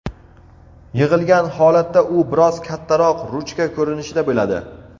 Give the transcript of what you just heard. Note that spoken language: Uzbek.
Yig‘ilgan holatda u biroz kattaroq ruchka ko‘rinishida bo‘ladi.